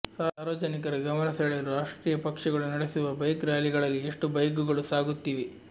ಸಾರ್ವಜನಿಕರ ಗಮನ ಸೆಳೆಯಲು ರಾಷ್ಟ್ರೀಯ ಪಕ್ಷಗಳು ನಡೆಸುವ ಬೈಕ್ ರ್ಯಾಲಿಗಳಲ್ಲಿ ಎಷ್ಟು ಬೈಕ್ಗಳು ಸಾಗುತ್ತಿವೆ